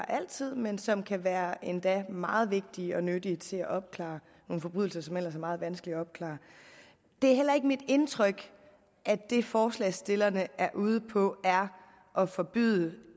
altid men som kan være endda meget vigtige og nyttige til at opklare nogle forbrydelser som ellers er meget vanskelige at opklare det er heller ikke mit indtryk at det forslagsstillerne er ude på er at forbyde